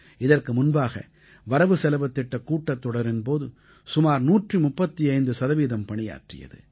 இதற்கு முன்பாக வரவுசெலவுத் திட்டக் கூட்டத்தொடரின் போது சுமார் 135 சதவீதம் பணியாற்றியது